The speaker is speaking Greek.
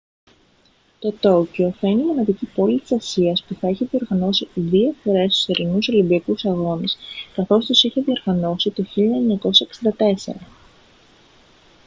το τόκιο θα είναι η μοναδική πόλη της ασίας που θα έχει διοργανώσει δύο φορές τους θερινούς ολυμπιακούς αγώνες καθώς τους είχε διοργανώσει το 1964